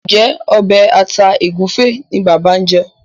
Njé Obe atá egufe ní bàbá ñ jé?